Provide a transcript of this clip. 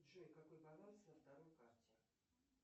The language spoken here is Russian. джой какой баланс на второй карте